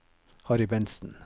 Harry Bentsen